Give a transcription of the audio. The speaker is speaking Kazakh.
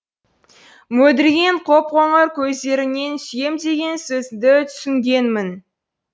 мөлдіреген қоп қоңыр көздеріңнен сүйем деген сөзіңді түсінгенмін